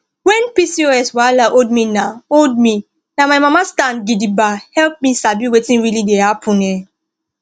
when pcos wahala hold me na hold me na my mama stand gidigba help me sabi wetin really dey happen um